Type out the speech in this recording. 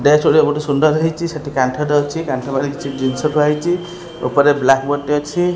Gas ଗୁଡ଼ା ବହୁତ୍ ସୁନ୍ଦର ହେଇଛି ସେଇଠି କାନ୍ଥରେ ଅଛି କାନ୍ଥରେ ପାଖରେ କିଛି ଜିନିଷ ଥୁଆ ହେଇଛି ଉପରେ ବ୍ଲାକ ବୋର୍ଡ଼ ଟେ ଅଛି।